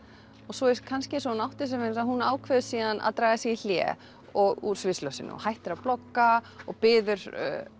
svo er kannski eins og hún átti sig hún ákveður að draga sig í hlé úr sviðsljósinu hættir að blogga og biður